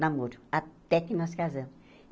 namoro, até que nós casamos.